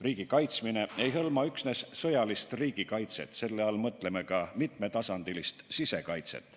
Riigi kaitsmine ei hõlma üksnes sõjalist riigikaitset, selle all mõtleme ka mitmetasandilist sisekaitset.